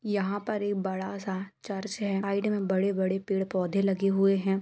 यहाँ पर एक बड़ा सा चर्च हैं साइड में बहुत बड़े-बड़े पेड़-पौधे लगे हुए हैं।